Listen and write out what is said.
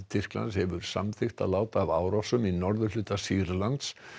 Tyrklands hefur samþykkt að láta af árásum í norðurhluta Sýrlands